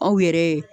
Aw yɛrɛ